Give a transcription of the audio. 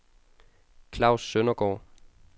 Klaus Søndergaard